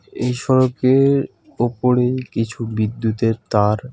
এই সড়কের ওপরে কিছু বিদ্যুতের তার.